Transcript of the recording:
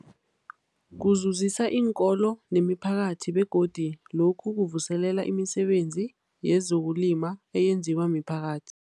Kuzuzisa iinkolo nemiphakathi begodu lokhu kuvuselela imisebenzi yezokulima eyenziwa miphakathi.